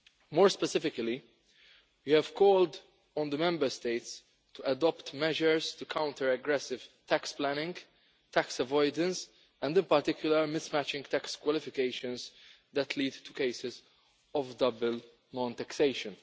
More specifically, we have called on the Member States to adopt measures to counter aggressive tax planning, tax avoidance and the particular mismatching tax qualifications that lead to cases of double non taxation.